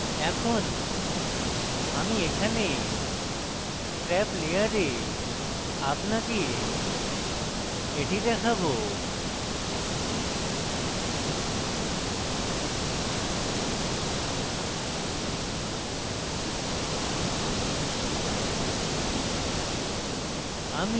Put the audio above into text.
এখন আমি এখানে scrap layer আপনাকে এটি দেখায়